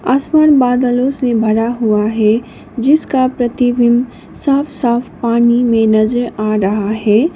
आसमान बादलों से भरा हुआ है जिसका प्रतिबिंब साफ साफ पानी में नजर आ रहा हैं।